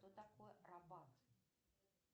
что такое рабат